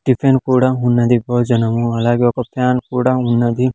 Tiffin కూడా ఉన్నది భోజనము అలాగే ఒక ఫ్యాన్ కూడా ఉన్నది.